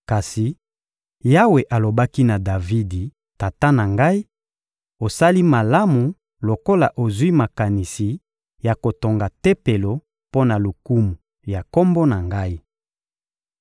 Kasi Yawe alobaki na Davidi, tata na ngai: «Osali malamu lokola ozwi makanisi ya kotonga Tempelo mpo na lokumu ya Kombo na Ngai.